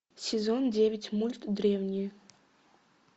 сезон девять мульт древние